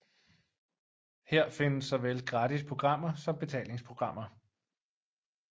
Her findes såvel gratis programmer som betalingsprogrammer